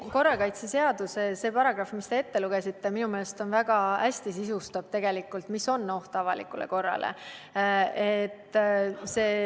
See korrakaitseseaduse paragrahv, mille te ette lugesite, sisustab minu meelest väga hästi selle, mis on "oht avalikule korrale".